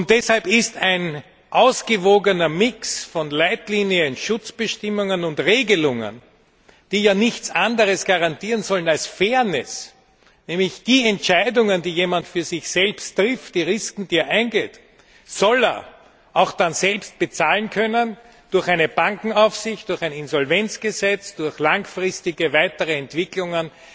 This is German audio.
Deshalb ist ein ausgewogener Mix von Leitlinien, Schutzbestimmungen und Regelungen, die ja nichts anderes garantieren sollen als Fairness nämlich die Entscheidungen, die jemand für sich selbst trifft, die Risiken, die er eingeht, soll er auch dann selbst bezahlen können durch eine Bankenaufsicht, durch ein Insolvenzgesetz, durch langfristige weitere Entwicklungen